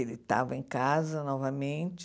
Ele estava em casa novamente.